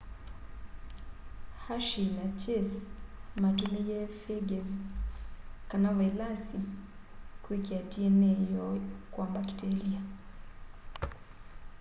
hershey na chase matumiie phages kana vailasi kwikia dna yoo kwa mbakitelia